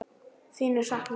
Þín er saknað.